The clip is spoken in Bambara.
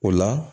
O la